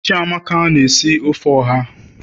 chiamaka na-esi ofe oha